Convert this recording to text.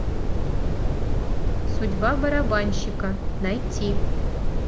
судьба барабанщика найти